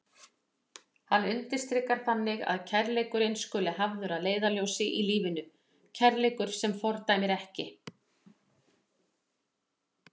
Hann undirstrikar þannig að kærleikurinn skuli hafður að leiðarljósi í lífinu, kærleikur sem fordæmir ekki.